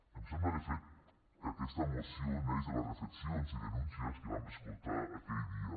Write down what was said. em sembla de fet que aquesta moció neix de les reflexions i denúncies que vam escoltar aquell dia